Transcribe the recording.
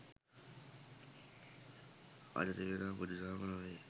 අද තිබෙනා බුදු දහම නොවෙයි